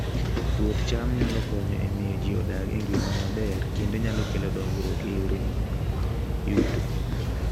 Puoth cham nyalo konyo e miyo ji odag e ngima maber kendo kelo dongruok e yore mag yuto